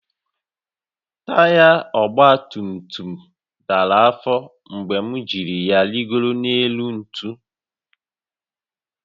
Taya ọgba tum tum dara afọ mgbe m jì ya rịgoro élú ntu